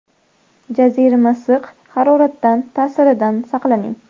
Jazirama issiq haroratdan ta’siridan saqlaning.